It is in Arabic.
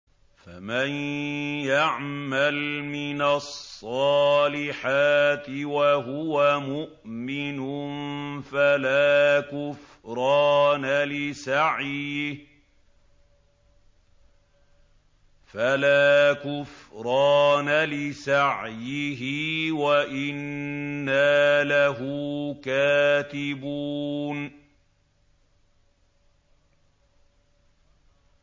فَمَن يَعْمَلْ مِنَ الصَّالِحَاتِ وَهُوَ مُؤْمِنٌ فَلَا كُفْرَانَ لِسَعْيِهِ وَإِنَّا لَهُ كَاتِبُونَ